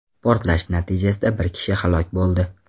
Portlash natijasida bir kishi halok bo‘ldi.